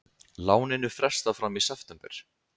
Láninu frestað fram í september